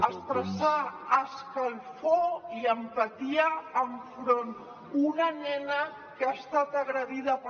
expressar escalfor i empatia enfront d’una nena que ha estat agredida per